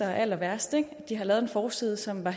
er allerværst og har lavet en forside som er